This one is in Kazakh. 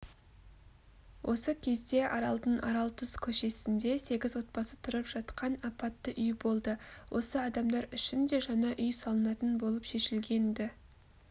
осы кезде аралдың аралтұз көшесінде сегіз отбасы тұрып жатқан апатты үй болды осы адамдар үшін де жаңа үй салынатын болып шешілген-ді